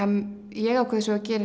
ég ákveð svo að gera